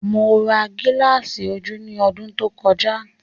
Mo ra gilasi ojú ní ọdún tó kọjá